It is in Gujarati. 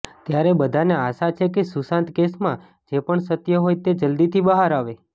ત્યારે બધાને આશા છે કે સુશાંત કેસમાં જે પણ સત્ય હોય તે જલ્દીથી બહાર આવે